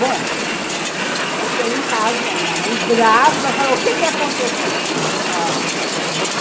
Bom, cheguei em casa e a minha mãe, brava, falou, o que que aconteceu? ah